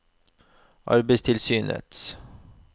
arbeidstilsynets